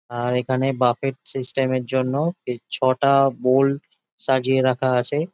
আর এখানে buffet system এর জন্য ছটা বোল সাজিয়ে রাখা আছে।